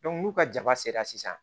n'u ka jaba sera sisan